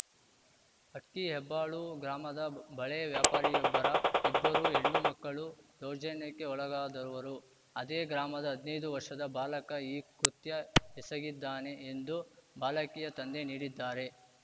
ಅಕ್ಕಿ ಹೆಬ್ಬಾಳು ಗ್ರಾಮದ ಬಳೆ ವ್ಯಾಪಾರಿಯೊಬ್ಬರ ಇಬ್ಬರು ಹೆಣ್ಣು ಮಕ್ಕಳು ದೌರ್ಜನ್ಯಕ್ಕೆ ಒಳಗಾದವರು ಅದೇ ಗ್ರಾಮದ ಹದ್ನೈದು ವರ್ಷದ ಬಾಲಕ ಈ ಕೃತ್ಯ ಎಸಗಿದ್ದಾನೆ ಎಂದು ಬಾಲಕಿಯ ತಂದೆ ನೀಡಿದ್ದಾರೆ